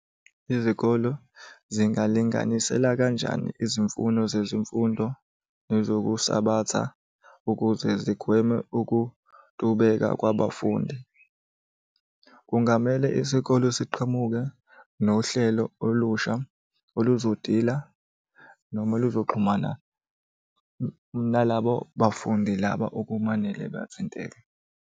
Izikolo zingalinganisela kanjani izimfuno zezimfundo nezokusabatha ukuze zigweme ukutubeka kwabafundi? Kungamele isikole siqhamuke nohlelo olusha oluzodila noma luzoxhumana nalabo bafundi laba okumanele bathinteke.